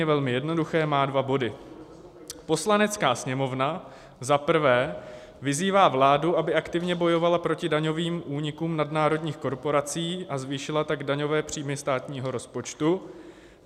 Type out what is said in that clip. Je velmi jednoduché, má dva body: "Poslanecká sněmovna za prvé vyzývá vládu, aby aktivně bojovala proti daňovým únikům nadnárodních korporací, a zvýšila tak daňové příjmy státního rozpočtu.